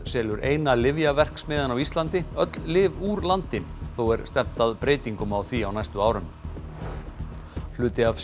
selur eina lyfjaverksmiðjan á Íslandi öll lyf úr landi þó er stefnt að breytingum á því á næstu árum hluti af